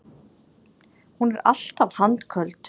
Hún er alltaf handköld.